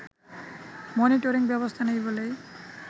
monitoring ব্যবস্থা নেই বলেই